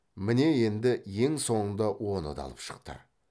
міне енді ең соңында оны да алып шықты